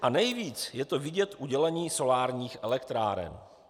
A nejvíc je to vidět u dělení solárních elektráren.